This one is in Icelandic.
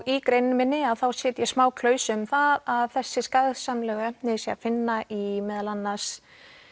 í greininni minni þá set ég smá klausu um það að þessi efni séu að finna í meðal annars